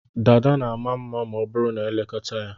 Dada na ama mma ma ọ bụrụ na e lekọta ya.